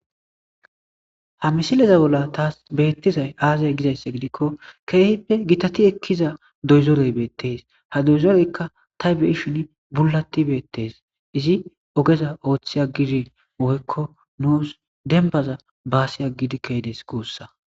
Haa misile bolla tas bettizay aybbe giko kehippe gitazi ekkiza dozore bettese ha dozereja ta be'shinn bullati beetes izzi oggeza otti aggidi woyko nus dembaza bassi agidi ke'des gussa